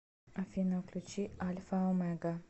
афина включи альфа омега